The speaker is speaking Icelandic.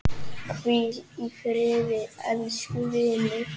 Hvíl í friði, elsku vinur.